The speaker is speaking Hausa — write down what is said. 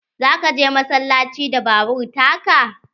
Za ka je massalaci da babur ta ka?